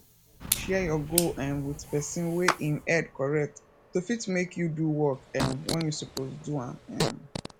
share your goal um with person wey im head correct to fit make you do work um when you suppose do am um